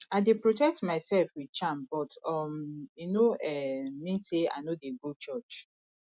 i dey protect myself with charm but um e no um mean say i no dey go church